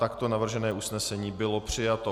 Takto navržené usnesení bylo přijato.